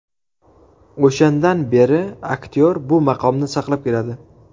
O‘shandan beri aktyor bu maqomni saqlab keladi.